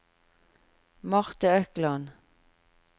Marte Økland